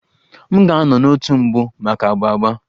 M ga-anọ n'òtù mbụ maka agba agba